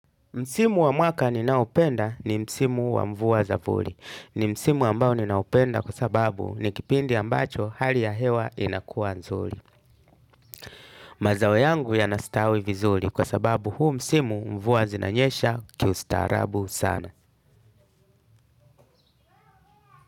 Msimu wa mwaka ninaopenda ni msimu wa mvua za voli. Ni msimu ambao ninaupenda kwa sababu ni kipindi ambacho hali ya hewa inakuwa nzuri. Mazao yangu yanastawi vizuri kwa sababu huu msimu mvua zinanyesha kiustaarabu sana.